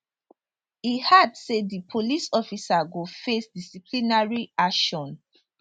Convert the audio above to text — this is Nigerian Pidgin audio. e add say di police officer go face disciplinary action